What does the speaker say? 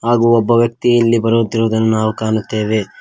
ಹಾಗೂ ಒಬ್ಬ ವ್ಯಕ್ತಿ ಇಲ್ಲಿ ಬರುತ್ತಿರುವುದನ್ನು ನಾವು ಕಾಣುತ್ತೇವೆ.